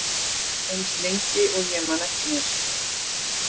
Eins lengi og ég man eftir mér.